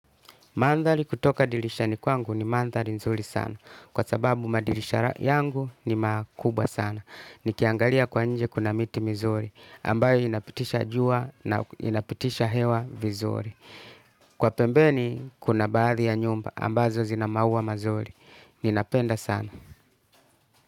Mandhali kutoka dilishani kwangu ni mandhali nzuri sana. Kwa sababu madilisha yangu ni makubwa sana. Nikiangalia kwa nje kuna miti mizuri. Ambayo inapitisha jua na inapitisha hewa vizuri. Kwa pembeni kuna baadhi ya nyumba ambazo zinamaua mazuri. Ninapenda sana.